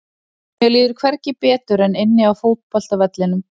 Mér líður hvergi betur en inni á fótboltavellinum.